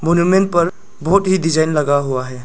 पर बहुत ही डिजाइन लगा हुआ है।